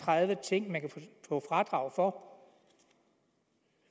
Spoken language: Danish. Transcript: tredive ting man kan få fradrag for